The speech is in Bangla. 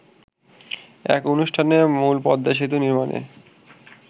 এক অনুষ্ঠানে মূলপদ্মা সেতু নির্মাণে